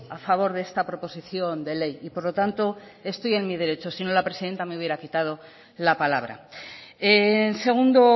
a favor de esta proposición de ley y por lo tanto estoy en mi derecho si no la presidenta me hubiera quitado la palabra en segundo